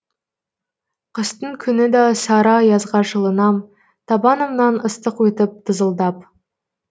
қыстың күні да сары аязға жылынам табанымнан ыстық өтіп тызылдап